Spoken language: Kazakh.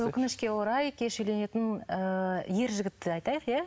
өкінішке орай кеш үйленетін ыыы ер жігітті айтайық ия